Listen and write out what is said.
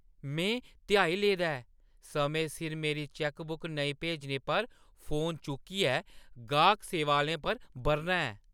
में ध्याई लेदा ऐ समें सिर मेरी चैक्कबुक नेईं भेजने पर फोन चुक्कियै गाह्‌क सेवा आह्‌लें पर ब'रना ऐ ।